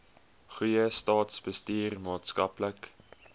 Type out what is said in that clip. goeie staatsbestuur maatskaplike